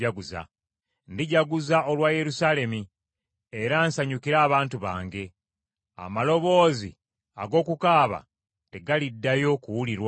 Ndijaguza olwa Yerusaalemi era nsanyukire abantu bange; amaloboozi ag’okukaaba tegaliddayo kuwulirwamu.